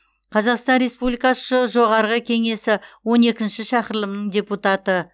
қазақстан республикасы жоғарғы кеңесі он екінші шақырылымының депутаты